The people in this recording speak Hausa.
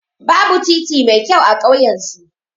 Babu titi mai kyau a ƙauyan su.